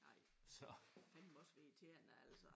Nej det må fandeme også være irriterende altså